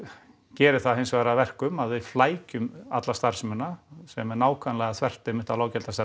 gerir það hins vegar að verkum að við flækjum alla starfsemina sem er nákvæmlega þvert einmitt á